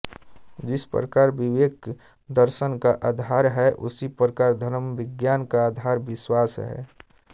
जिस प्रकार विवेक दर्शन का आधार है उसी प्रकार धर्मविज्ञान का आधार विश्वास है